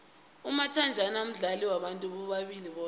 umathajhana mdlalo wabantu bobulili boke